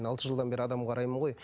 алты жылдан бері адам қараймын ғой